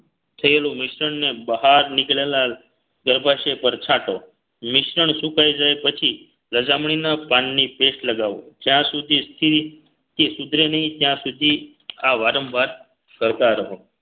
થયેલું મિશ્રણને બહાર નીકળેલા ગર્ભાશય પર છાંટો મિશ્રણ સુકાઈ જાય પછી લજામણીના પાનની paste લગાવો જ્યાં સુધી સ્થિર કે સુધરે નહીં ત્યાં સુધી આ વારંવાર કરતા રહો